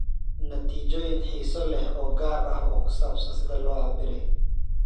Natiijooyin xiiso leh oo gaar ah oo ku saabsan sida loo cabbiray.